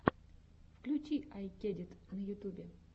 включи ай кедит на ютубе